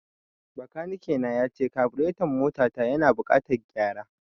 Bakanike na yace kabureton mota ta yana da buƙatan gyara